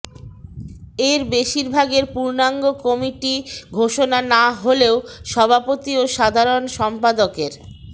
এর বেশিরভাগের পূর্ণাঙ্গ কমিটি ঘোষণা না হলেও সভাপতি ও সাধারণ সম্পাদকের